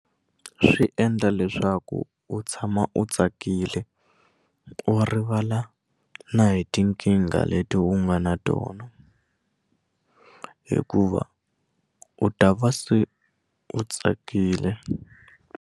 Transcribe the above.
Swi endla leswaku u tshama u tsakile u rivala na hi tinkingha leti u nga na tona hikuva u ta va se u tsakile.